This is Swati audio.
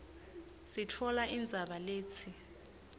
sitfola indzaba letsi